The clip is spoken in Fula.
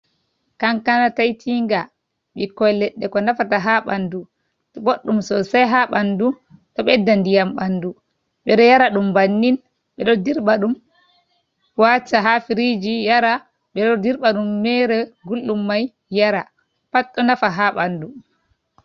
Kankana taitinga ɓikkoi leɗɗe ko nafata ha ɓanɗu t ɓoɗɗum sosai ha ɓanɗu, ɗo ɓeɗɗa ndiyam ɓanɗu ɓeɗo yara ɗum bannin, ɓeɗo dirɓa ɗum kl wata ha firiji yara, ɓe ɗo dirbat ɗum mere guldum mai yara pat ɗo nafa ha ɓanɗu.